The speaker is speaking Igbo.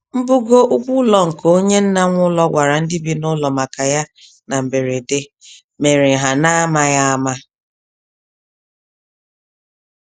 Mbugo ụgwọ ụlọ nke onye nna-nwe-ụlọ gwara ndị bi n'ụlọ maka ya na na mberede, mèrè ha namaghị àmà.